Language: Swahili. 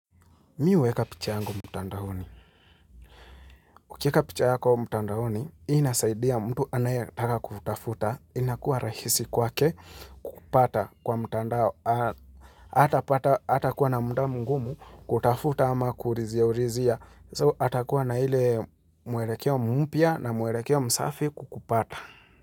Mi huweka picha yangu mtandaoni. Ukiweka picha yako mtandaoni, inasaidia mtu anayataka kukutafuta, inakuwa rahisi kwake kukupata kwa mtandao hatapata, hatakuwa na muda mgumu kutafuta ama kuhulizia ulizia. So atakuwa na ile mwelekeo mpya na mwelekeo msafi kukupata.